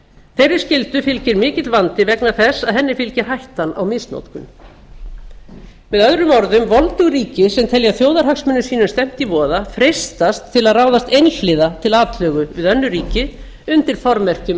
þeirri skyldu fylgir mikill vandi vegna þess að henni fylgir hættan á misnotkun með árum orðum voldug ríki sem telja þjóðarhagsmunum sínum stefnt í voða freistast til að ráðast einhliða til atlögu við önnur ríki undir formerkjum